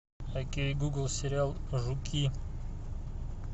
окей гугл сериал жуки